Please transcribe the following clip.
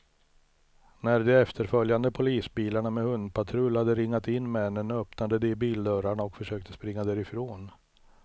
När de efterföljande polisbilarna med hundpatrull hade ringat in männen, öppnade de bildörrarna och försökte springa därifrån.